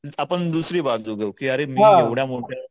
आपण दुसरी बाजू घेऊ की अरे मी एवढ्या मोठ्या